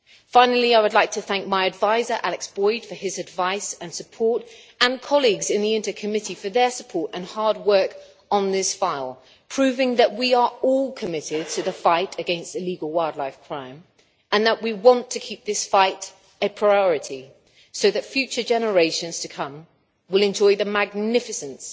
Finally, I would like to thank my adviser Alex Boyd for his advice and support, and colleagues in INTA for their support and hard work on this file, proving that we are all committed to the fight against illegal wildlife crime and that we want to keep this fight a priority so that future generations to come will enjoy the magnificence